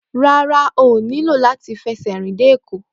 Rárá, ó nílò láti fi ẹsẹ̀ rìn dé Èkó